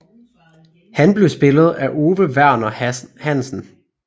Han blev spillet af Ove Verner Hansen